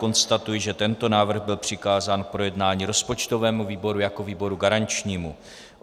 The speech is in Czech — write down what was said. Konstatuji, že tento návrh byl přikázán k projednání rozpočtovému výboru jako výboru garančnímu.